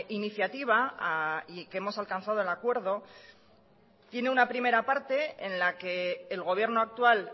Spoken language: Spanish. iniciativa y que hemos alcanzado el acuerdo tiene una primera parte en la que el gobierno actual